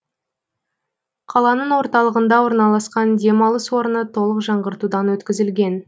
қаланың орталығында орналасқан демалыс орны толық жаңғыртудан өткізілген